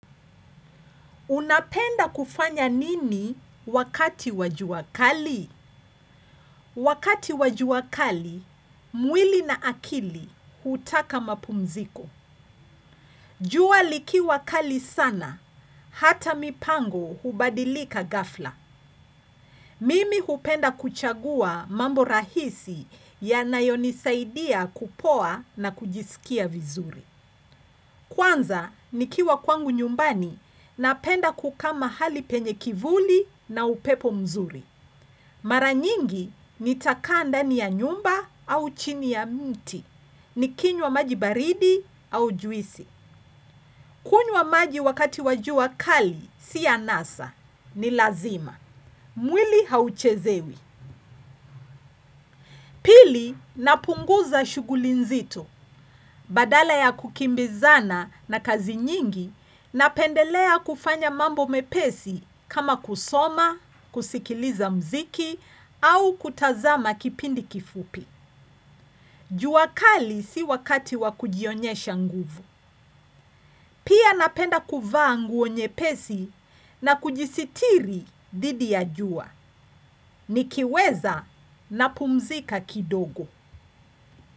Unapenda kufanya nini wakati wa jua kali? Wakati wa jua kali, mwili na akili hutaka mapumziko. Jua likiwa kali sana, hata mipango hubadilika ghafla. Mimi hupenda kuchagua mambo rahisi yanayonisaidia kupoa na kujisikia vizuri. Kwanza, nikiwa kwangu nyumbani, napenda kukaa mahali penye kivuli na upepo mzuri. Mara nyingi nitakaa ndani ya nyumba au chini ya mti, nikinywa maji baridi au juisi. Kunywa maji wakati wa jua kali, si anasa, ni lazima. Mwili hauchezewi. Pili napunguza shuguli nzito badala ya kukimbizana na kazi nyingi napendelea kufanya mambo mepesi kama kusoma, kusikiliza mziki au kutazama kipindi kifupi. Jua kali si wakati wa kujionyesha nguvu. Pia napenda kuvaa nguo nyepesi na kujisitiri dhidi ya jua. Nikiweza na pumzika kidogo.